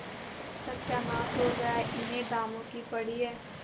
सत्यानाश हो गया इन्हें दामों की पड़ी है